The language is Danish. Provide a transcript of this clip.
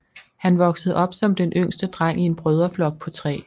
Han voksede op som den yngste dreng i en brødreflok på tre